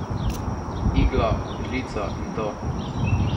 Iglo, žlico in to.